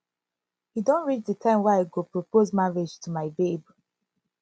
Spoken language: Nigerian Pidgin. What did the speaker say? e don reach the time wey i go propose marriage to my babe